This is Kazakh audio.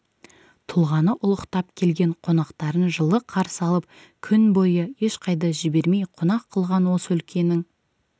тұлғаны ұлықтап келген қонақтарын жылы қарсы алып күн бойы ешқайда жібермей қонақ қылған осы өлкенің